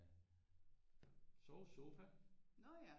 Øh sovesofa